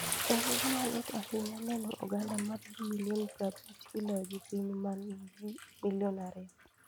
En gima lit ahinya neno oganda mar ji milion prabich kiloyo gi piny ma nigi ji milion 2".